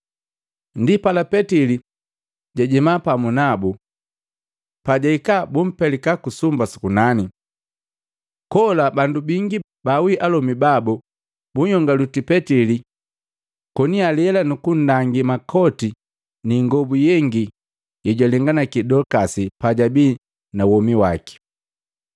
Ndipala, Petili jajenda pamu nabu. Pajahika bumpelika ku sumba su kunani. Kola bandu bingi baawi alomi babu bunhyongwaliti Petili koni alela nukundangi makoti ni ingobu yengi yejwalenganaki Dolikasi pajabi na womi waki.